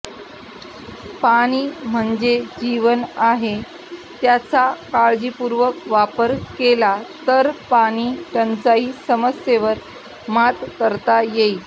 पाणी म्हणजे जीवन आहे त्याचा काळजीपूर्वक वापर केला तर पाणी टंचाई समस्येवर मात करता येईल